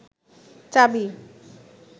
চাবি